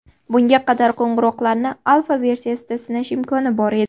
Bunga qadar qo‘ng‘iroqlarni alfa-versiyada sinash imkoni bor edi.